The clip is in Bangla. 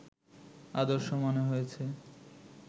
আদর্শ মনে হয়েছে